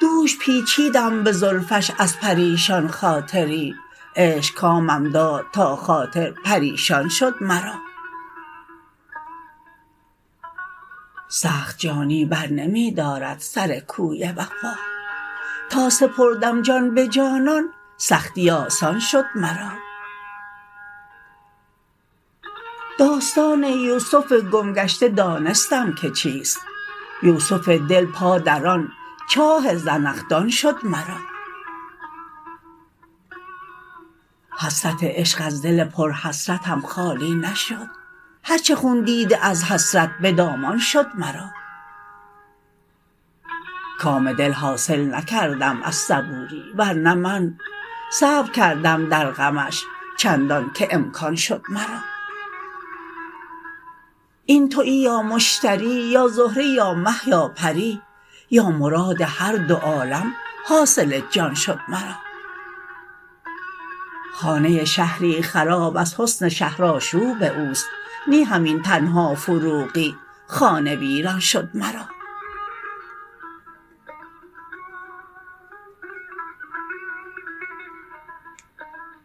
دوش پیچیدم به زلفش از پریشان خاطری عشق کامم داد تا خاطر پریشان شد مرا سخت جانی بر نمی دارد سر کوی وفا تا سپردم جان به جانان سختی آسان شد مرا داستان یوسف گم گشته دانستم که چیست یوسف دل پا در آن چاه زنخدان شد مرا حسرت عشق از دل پر حسرتم خالی نشد هر چه خون دیده از حسرت به دامان شد مرا کام دل حاصل نکردم از صبوری ورنه من صبر کردم در غمش چندان که امکان شد مرا این تویی یا مشتری یا زهره یا مه یا پری یا مراد هر دو عالم حاصل جان شد مرا خانه شهری خراب از حسن شهر آشوب اوست نی همین تنها فروغی خانه ویران شد مرا